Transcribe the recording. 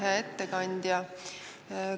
Hea ettekandja!